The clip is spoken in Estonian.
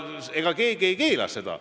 Ega keegi ei keela seda.